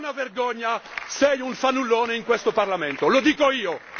È una vergogna lei è un fannullone in questo Parlamento, lo dico io.